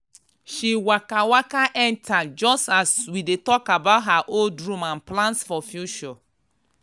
she waka waka enter just as we dey talk about her old room and plans for future.